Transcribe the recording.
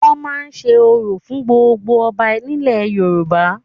Wọ́n máa ń se orò fún gbogbo ọba nílẹ̀ Yorùbá